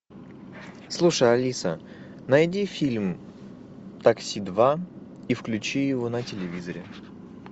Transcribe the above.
слушай алиса найди фильм такси два и включи его на телевизоре